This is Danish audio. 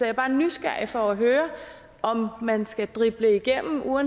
er bare nysgerrig efter at høre om man skal drible igennem og